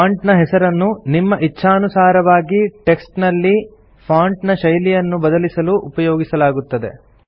font ನ ಹೆಸರನ್ನು ನಿಮ್ಮ ಇಚ್ಛಾನುಸಾರವಾಗಿ ಟೆಕ್ಸ್ಟ್ ನಲ್ಲಿ ಫಾಂಟ್ ನ ಶೈಲಿಯನ್ನು ಬದಲಿಸಲು ಉಪಯೋಗಿಸಲಾಗುತ್ತದೆ